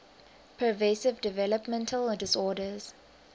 pervasive developmental disorders